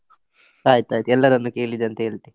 ಆಯ್ತ್ ಆಯ್ತ್, ಎಲ್ಲರನ್ನ ಕೇಳಿದೆ ಅಂತ ಹೇಳ್ತೇ.